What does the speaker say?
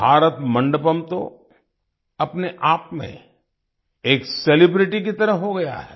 भारत मंडपम तो अपने आप में एक सेलिब्रिटी की तरह हो गया है